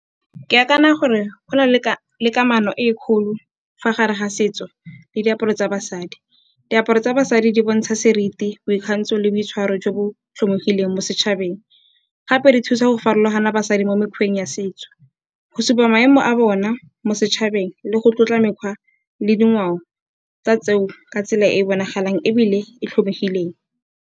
Ke akanya gore go na le kamano e kgolo fa gare ga setso le diaparo tsa basadi. Diaparo tsa basadi di bontsha seriti, boikgantsho le boitshwaro jo bo tlhomogileng mo setšhabeng gape di thusa go farologana basadi mo mekgweng ya setso, go supa maemo a bona mo setšhabeng le go tlotla mekgwa le dingwao tsa tseo ka tsela e bonagalang ebile e tlhomegileng.